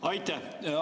Aitäh!